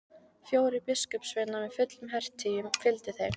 Fjórir biskupssveinar með fullum hertygjum fylgdu þeim.